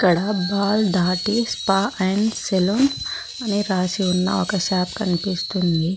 ఇక్కడ బాల్ దాటి spa and salon అని రాసి ఉన్న ఒక షాప్ కనిపిస్తుంది.